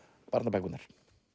barnabækurnar